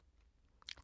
TV 2